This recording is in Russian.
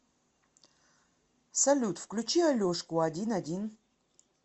салют включи алешку один один